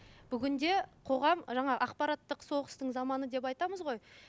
бүгінде қоғам жаңа ақпарақттық соғыстың заманы деп айтамыз ғой